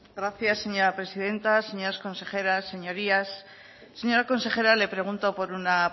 gracias señora presidenta señoras consejeras señorías señora consejera le pregunto por una